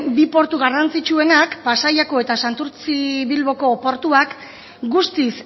bi portu garrantzitsuenak pasaiakoa eta santurtzi bilboko portuak guztiz